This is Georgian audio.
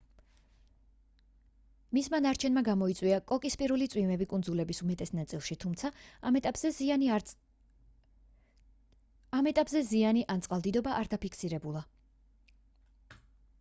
მისმა ნარჩენებმა გამოიწვია კოკისპირული წვიმები კუნძულების უმეტეს ნაწილში თუმცა ამ ეტაპზე ზიანი ან წყალდიდობა არ დაფიქსირებულა